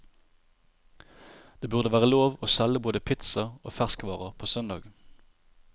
Det burde være lov å selge både pizza og ferskvarer på søndag.